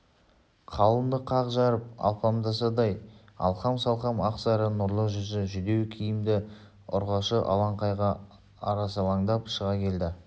қалынды қақ жарып алпамсадай алқам-салқам ақсары нұрлы жүзді жүдеу киімді ұрғашы алаңқайға арсалаңдап шыға келді